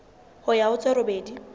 ho ya ho tse robedi